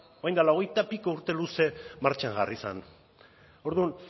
orain dela hogeita piku urte luze martxan jarri zen orduan